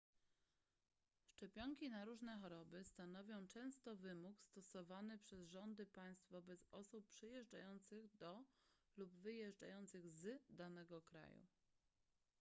szczepionki na różne choroby stanowią często wymóg stosowany przez rządy państw wobec osób przyjeżdżających do lub wyjeżdżających z danego kraju